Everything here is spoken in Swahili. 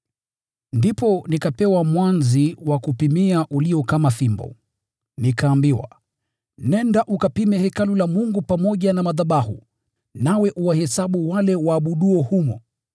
Ndipo nikapewa mwanzi uliokuwa kama ufito wa kupimia, nikaambiwa, “Nenda ukapime hekalu la Mungu pamoja na madhabahu, nawe uwahesabu wale waabuduo humo.